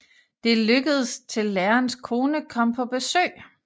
Det lykkedes til lærerens kone kom på besøg